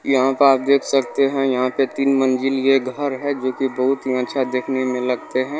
इ यहां पे आप देख सकते है यहां पे तीन मंजिल ये घर है जो कि बहुत ही अच्छा देखने मे लगते है।